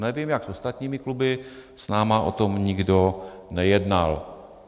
Nevím, jak s ostatními kluby, s námi o tom nikdo nejednal.